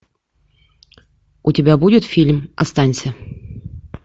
у тебя будет фильм останься